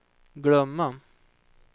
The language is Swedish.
glömma